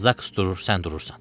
Zaks durur, sən durursan.